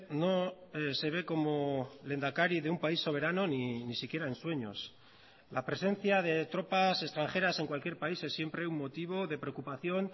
no se ve como lehendakari de un país soberano ni siquiera en sueños la presencia de tropas extranjeras en cualquier país es siempre un motivo de preocupación